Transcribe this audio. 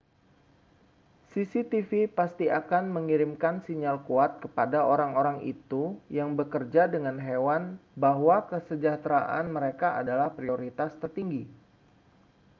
cctv pasti akan mengirimkan sinyal kuat kepada orang-orang itu yang bekerja dengan hewan bahwa kesejahteraan mereka adalah prioritas tertinggi